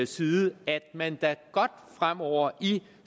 side at man da godt fremover i